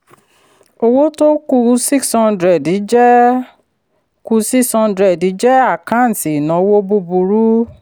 owó tó kù six hundred jẹ́ kù six hundred jẹ́ àkántì ìnáwó búburú.